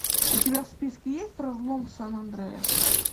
у тебя в списке есть разлом сан андреас